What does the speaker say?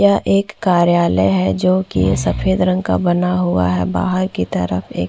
यह एक कार्यालय है जोकि सफ़ेद रंग का बना हुआ है बाहर की तरफ एक--